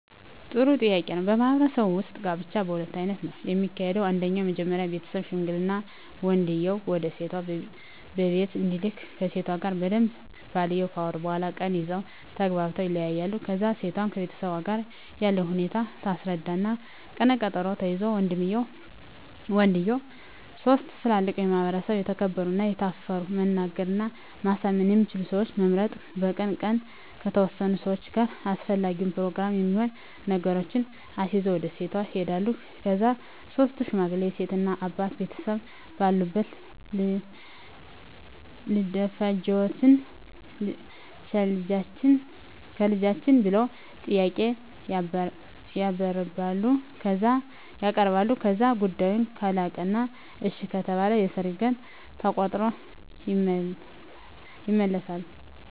ጥሩ ጥያቄ ነው በማህበረሰቡ ውጥ ጋብቻ በሁለት አይነት ነው ከሚካሄደው አንደኛው መጀመሪ ቤተሠብ ሽምግልና ወንድየው ወደሴቷ ቢቤት እንዲልክ ከሴቷ ጋር በደንብ ባልየው ካወሩ በኋላ ቀን ይዘው ተግባብተው ይለያያሉ ከዛ እሴቷም ከቤተሠቧ ጋር ያለውን ሁኔታ ታስረዳ እና ቀነ ቀጠሮ ተይዞ ወንድየው ሥስት ትላልቅ በማህበረሰቡ የተከበሩ እና የታፈሩ መናገር እና ማሳመን የሚችሉ ሠወችን በመምረጥ በቀኑ ቀን ከተወሠኑ ሠዋች ጋር አሰፈላጊውን የፕሮግራም የሚሆኑ ነገሮችን አሲዞ ወደ ሴቷ ይሄዳሉ ከዛ ሥስቱ ሽማግሌ የሴት እናት አባት ቤተሰብ ባለበት ልደፈጅዎትን ቸልጃችን ብለው ጥያቄ ያበርባሉ ከዛ ጉዳዮ ካለቀ እና እሺ ከተባለ የሠርግ ቀን ተቆሮጦ ይመለሣሉ